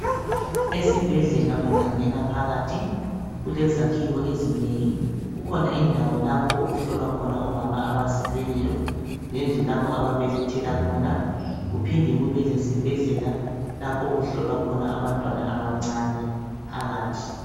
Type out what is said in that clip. Esibhedlela ungangena phakathi, kulezakhiwo ezinengi kulendawo lapho okulabomama abazabelethela khona lalapho okulatshelwa abantwana.